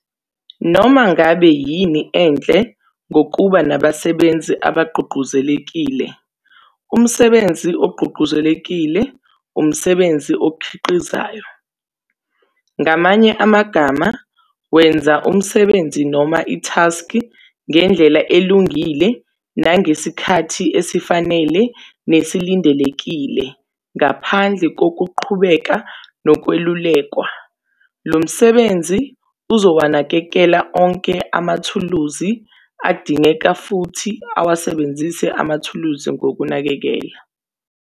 Noma, ngabe yini enhle ngokuba nabasebenzi abagqugquzelekile? Umsebenzi ogqugquzelekile umsebenzi okhiqizayo, ngamanye amagama wenza umsebenzi noma ithaskhi ngendlela elungile nangesikhathi esifanele nesilindelekile ngaphandle kokuqhubeka nokwelulekwa. Lo msebenzi uzowanakekela onke amathuluzi adingekayo futhi ewasebenzise amathuluzi ngokunakekela.